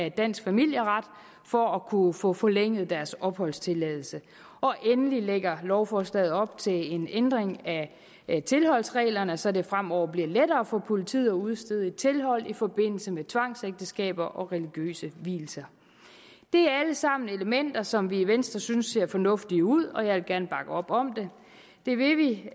i dansk familieret for at kunne få forlænget deres opholdstilladelse endelig lægger lovforslaget op til en ændring af tilholdsreglerne så det fremover bliver lettere for politiet at udstede et tilhold i forbindelse med tvangsægteskaber og religiøse vielser det er alt sammen elementer som vi i venstre synes ser fornuftige ud og jeg vil gerne bakke op om dem det vil vi